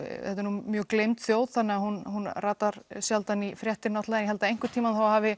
mjög gleymd þjóð þannig hún hún ratar sjaldan í fréttir en ég held að einhvern tíman þá hafi